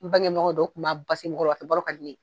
N bangeɲɔgɔn don u tun b'a basi n kɔrɔ Ka di ne ye.